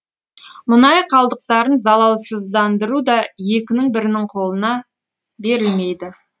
мұнай қалдықтарын залалсыздыру да екінің бірінің қолына берілмейді